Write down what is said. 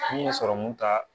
N bɛ sɔrɔmu ta